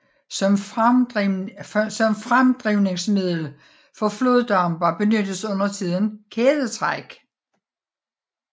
Som fremdrivningsmiddel for floddampere benyttes undertiden kædetræk